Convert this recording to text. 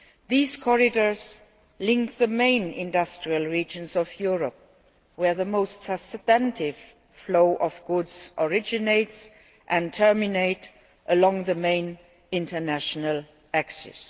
These corridors link the main industrial regions of Europe, where the most substantive flow of goods originates and terminates along the main international axes.